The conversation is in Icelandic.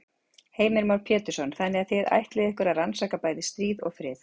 Heimir Már Pétursson: Þannig að þið ætlið ykkur að rannsaka bæði stríð og frið?